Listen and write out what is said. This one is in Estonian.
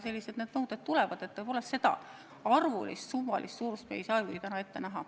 Sellised nõuded tulevad, aga nende arvu ja summade suurust me ei saa küll täna ette näha.